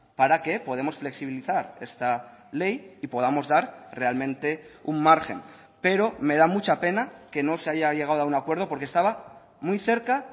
para que podemos flexibilizar esta ley y podamos dar realmente un margen pero me da mucha pena que no se haya llegado a un acuerdo porque estaba muy cerca